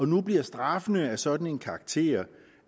nu bliver straffene af sådan en karakter